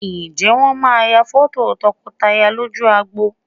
Ǹjẹ́ Wọ́n máa ya fọ́tò tọkọtaya lójú agbo?